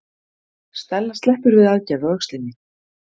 Stella sleppur við aðgerð á öxlinni